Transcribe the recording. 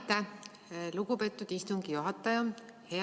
Aitäh, lugupeetud istungi juhataja!